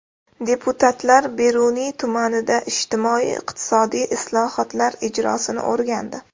Deputatlar Beruniy tumanida ijtimoiy-iqtisodiy islohotlar ijrosini o‘rgandi.